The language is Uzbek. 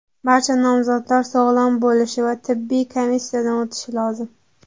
Barcha nomzodlar sog‘lom bo‘lishi va tibbiy komissiyadan o‘tishi lozim.